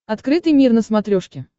открытый мир на смотрешке